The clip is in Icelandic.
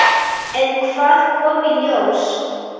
En hvað kom í ljós?